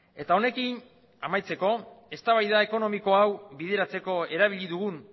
eta honekin amaitzeko eztabaida ekonomiko hau bideratzeko erabili dugun